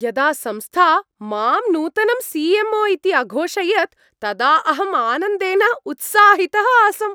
यदा संस्था मां नूतनं सि.एम्.ओ. इति अघोषयत् तदा अहम् आनन्देन उत्साहितः आसम्।